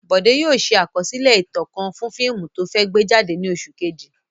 Bọ̀dé yóò ṣe àkọsílẹ̀ ìtàn kan fún fíìmù tó fẹ́ gbé jáde ní oṣù kejì.